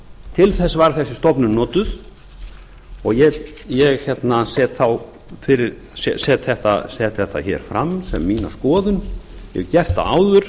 til þess var þessi stofnun notuð og ég set þetta hér fram sem mína skoðun hef gert það áður